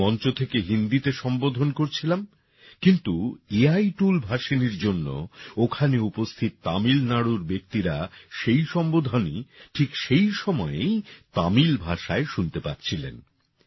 আমি মঞ্চ থেকে হিন্দিতে সম্বোধন করছিলাম কিন্তু এ আই টুল ভাষিণীর জন্য ওখানে উপস্থিত তামিলনাড়ুর ব্যক্তিরা সেই সম্বোধনই ঠিক সেই সময়েই তামিল ভাষায় শুনতে পাচ্ছিলেন